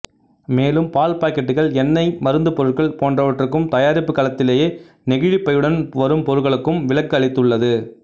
மேலும் பால் பாக்கெட்டுகள் எண்ணெய் மருந்துப்பொருள்கள் போன்றவற்றுக்கும் தயாரிப்பு களத்திலேயே நெகிழிப் பையுடன் வரும் பொருட்களுக்கும் விலக்கு அளித்துள்ளது